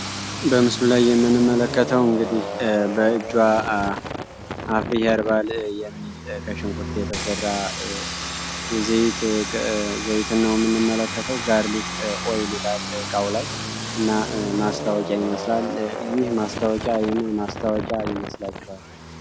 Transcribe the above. በምስሉ ላይ የምንመለከተው እንግዲህ በእጅዋ አኩሪ አርባ ሽንኩርት የተሰራ ዘይት ነው የምንመለከተው ጋርቢክ ኦይል ይላል እቃው ላይ እና ማስታወቂያ ይመስላል ይህ ማስተዋወቂያ ምን ይመስላችኋል?